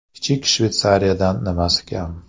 Kichik Shveysariyadan nimasi kam?